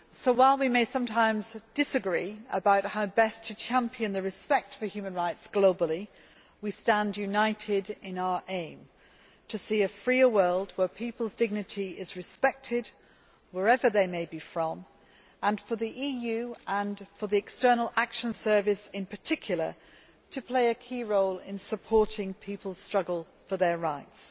While we may sometimes disagree about how best to champion respect for human rights globally, we stand united in our aim to see a freer world, where people's dignity is respected wherever they may be from and for the EU, and the External Action Service in particular, to play a key role in supporting people's struggles for their rights.